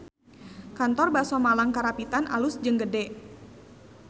Kantor Baso Malang Karapitan alus jeung gede